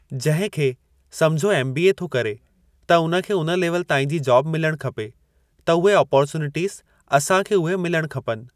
जंहिं खे सम्झो एम बी ए थो करे त उन खे उन लेवल ताईं जी जॉब मिलणु खपे त उहे अपॉर्चुनिटीस असां खे उहे मिलणु खपनि।